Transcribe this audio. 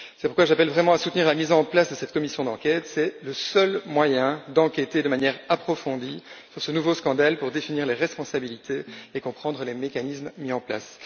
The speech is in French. C'est pourquoi j'appelle vraiment à soutenir la mise en place de cette commission d'enquête c'est le seul moyen d'enquêter de manière approfondie sur ce nouveau scandale pour délimiter les responsabilités et comprendre les mécanismes mis en place.